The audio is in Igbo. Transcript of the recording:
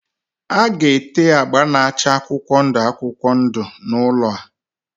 A ga-ete agba na-acha akwụkwọ ndụ akwụkwọ ndụ n'ụlọ a.